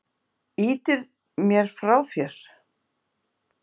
Ýtir mér frá þér.